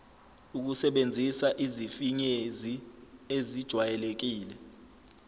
ukusebenzisa izifinyezi ezijwayelekile